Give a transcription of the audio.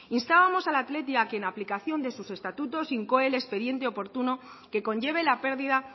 instábamos al athletic a que en aplicación de sus estatutos incoe el expediente oportuno que conlleve la pérdida